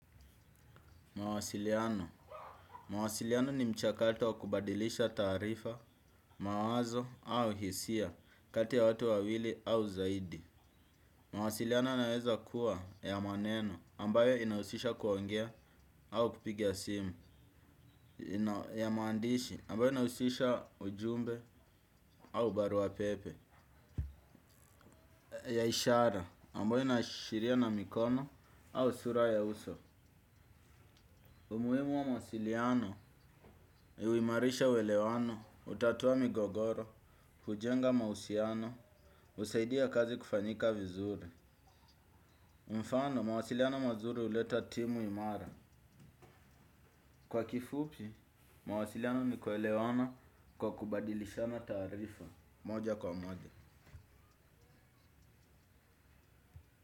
Mawasiliano. Mawasiliano ni mchakato wakubadilisha taarifa, mawazo au hisia kati ya watu wawili au zaidi. Mawasiliano yanaweza kuwa ya maneno ambayo inahusisha kuongea au kupigia simu ya mandishi ambayo inahusisha ujumbe au baruapepe ya ishara ambayo inaashiria na mikono au sura ya uso. Umuhimu wa mawasiliano, yuimarisha uelewano, hutatua migogoro, hujenga mahusiano, husaidia kazi kufanyika vizuri. Mfano, mawasiliano mazuri huleta timu imara. Kwa kifupi, mawasiliano ni kuelewana kwa kubadilishana taarifa moja kwa moja.